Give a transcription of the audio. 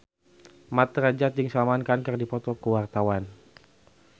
Mat Drajat jeung Salman Khan keur dipoto ku wartawan